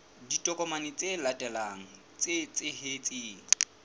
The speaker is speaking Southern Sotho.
ditokomane tse latelang tse tshehetsang